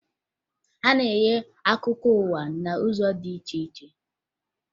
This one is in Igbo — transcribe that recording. A na-enye akụkọ ụwa n'ụzọ dị iche iche